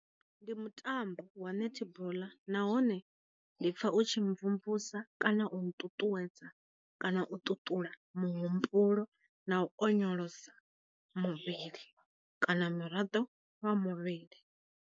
Ndi mu tambo wa netball, nahone ndi pfa u tshi mvumvusa kana u nṱuṱuwedza kana u ṱuṱula mu humbulo na u onyolosa muvhili kana miraḓo wa muvhili.